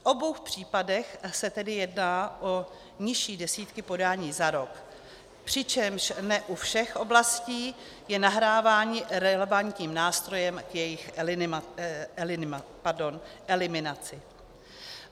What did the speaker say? V obou případech se tedy jedná o nižší desítky podání za rok, přičemž ne u všech oblastí je nahrávání relevantním nástrojem k jejich eliminaci.